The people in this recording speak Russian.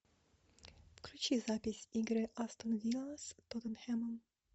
включи запись игры астон вилла с тоттенхэмом